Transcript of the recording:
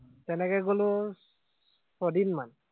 তেনেকে গলো ছদিন মান